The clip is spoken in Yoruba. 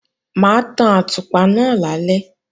Mà á tan àtùpà náà lálẹ́